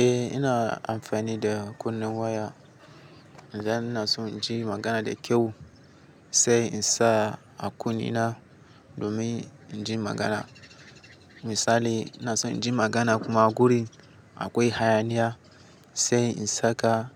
Eh ina amfani da kunun waya. Dan ina son in ji magana da kyau sai in sa a kunne na domin in ji magana. Misali ina son in ji magana kuma a guri akwai hayaniya sai in saka